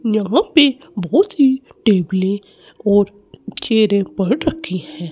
यहां पे बहोत ही टेबले और चेयरे पड़ रखी है।